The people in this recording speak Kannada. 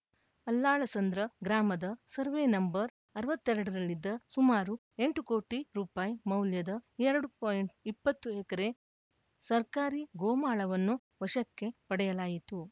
ಅಲ್ಲಾಳಸಂದ್ರ ಗ್ರಾಮದ ಸರ್ವೆ ನಂಬರ್‌ ಅರವತ್ತ್ ಎರಡರಲ್ಲಿದ್ದ ಸುಮಾರು ಎಂಟು ಕೋಟಿ ರುಪಾಯಿ ಮೌಲ್ಯದ ಎರಡು ಪಾಯಿಂಟ್ ಇಪ್ಪತ್ತು ಎಕರೆ ಸರ್ಕಾರಿ ಗೋಮಾಳವನ್ನು ವಶಕ್ಕೆ ಪಡೆಯಲಾಯಿತು